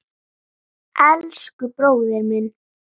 Elsku bróðir minn.